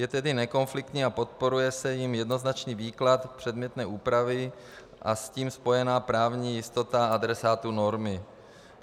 Je tedy nekonfliktní a podporuje se jím jednoznačný výklad předmětné úpravy a s tím spojená právní jistota adresátů normy.